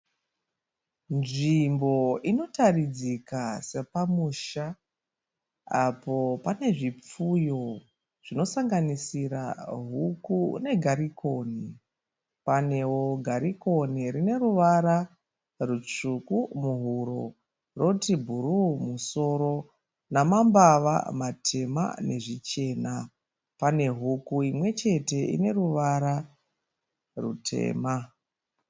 Nzvimbo inotaridzika sapamusha apo pane zvipfuyo zvinosanganisira huku negarikoni, panewo garikoni rine ruvara rutsvuku muhuro roti bhuruu musoro namambava matema nezvichena , pane huku imwechete ine ruvara rutema.